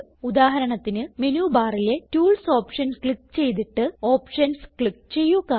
ഉദാഹരണത്തിന് മെനു ബാറിലെ tools option click ചെയ്തിട്ട് ഓപ്ഷൻസ് ക്ലിക്ക് ചെയ്യുക